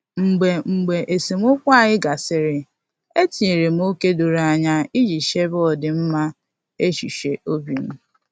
Mgbe Mgbe esemokwu anyị gasịrị, etinyere m ókè doro anya iji chebe ọdịmma echuche obim